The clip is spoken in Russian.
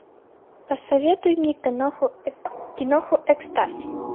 посоветуй мне киноху экстаз